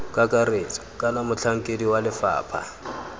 kakaretso kana motlhankedi wa lefapha